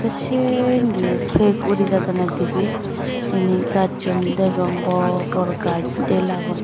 tey sey indi yo pek urijadondey dibey inni gachun degong bor bor gach dela gun.